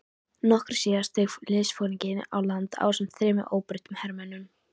Nokkru síðar steig liðsforingi á land ásamt þremur óbreyttum hermönnum.